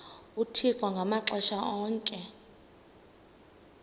uthixo ngamaxesha onke